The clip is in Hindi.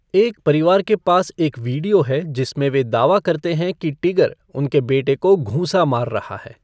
एक परिवार के पास एक वीडियो है जिसमें वे दावा करते हैं कि टिगर उनके बेटे को घूंसा मार रहा है।